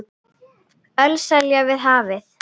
Ölselja við hafið